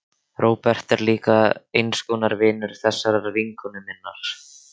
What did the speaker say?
Róbert er líka eins konar vinur þessarar vinkonu minnar.